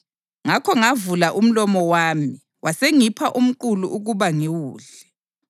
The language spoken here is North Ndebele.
Ngakho ngavula umlomo wami, wasengipha umqulu ukuba ngiwudle.